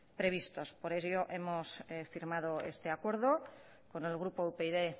previstos por ello hemos firmado este acuerdo con el grupo upyd